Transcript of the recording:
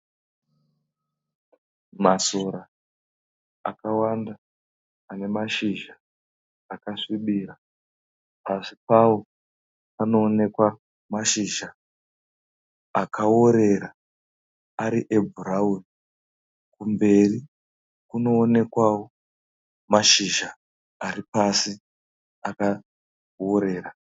Masora akawanda ane mashizha akasvibira. Pasi pawo panoonekwa mashizha akaworera ari ebhurawuni. Kumberi kunoonekwawo mashizha ari pasi akaworera.